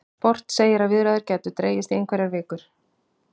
Sport segir að viðræður gætu dregist í einhverjar vikur